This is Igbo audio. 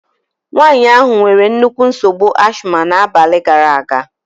Nwaanyị ahụ nwere nnukwu nsogbu ashima n'abalị gaara aga.